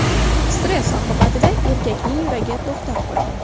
Stress oqibatida erkakning yuragi to‘xtab qolgan.